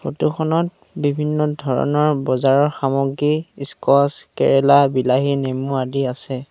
Photo খনত বিভিন্ন ধৰণৰ বজাৰৰ সামগ্ৰী ইস্কোৱাছ কেৰেলা বিলাহী নেমু আদি আছে।